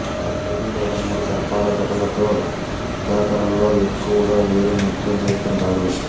ఐదు లేదా మూడు సర్పాల ఘటాలతో జాతరలలో ఎక్కువగా వెరు నృత్యం చేస్తుంటారు